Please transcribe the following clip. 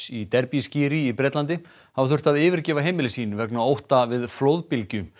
í Derbyskíri í Bretlandi hafa þurft að yfirgefa heimili sín vegna ótta við flóðbylgju